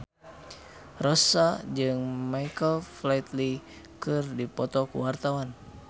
Rossa jeung Michael Flatley keur dipoto ku wartawan